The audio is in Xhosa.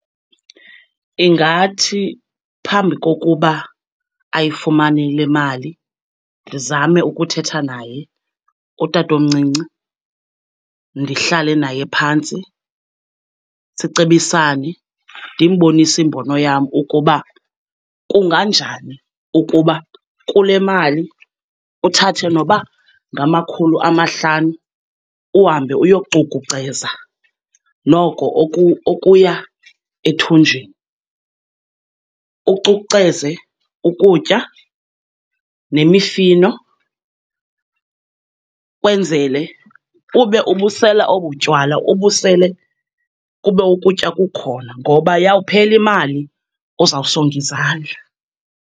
Ndingathi phambi kokuba ayifumane le mali ndizame ukuthetha naye utatomncinci, ndihlale naye phantsi sicebisane. Ndimbonise imbono yam ukuba kunganjani ukuba kule mali uthathe noba ngamakhulu amahlanu, uhambe uyocukuceza noko okuya ethunjini. Ucukuceze ukutya nemifino, kwenzele ube ubusela obutywala, ubusele kube ukutya kukhona, ngoba yawuphela imali uzawusonga izandla.